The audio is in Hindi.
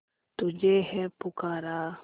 तुझे है पुकारा